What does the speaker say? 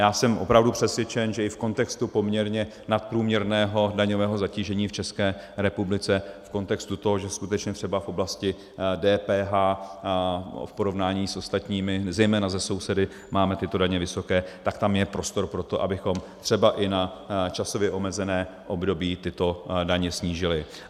Já jsem opravdu přesvědčen, že i v kontextu poměrně nadprůměrného daňového zatížení v České republice, v kontextu toho, že skutečně třeba v oblasti DPH v porovnání s ostatními, zejména se sousedy, máme tyto daně vysoké, tak tam je prostor pro to, abychom třeba i na časově omezené období tyto daně snížili.